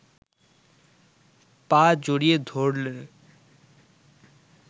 পা জড়িয়ে ধরলে